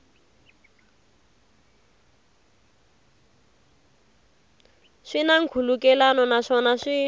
swi na nkhulukelano naswona swi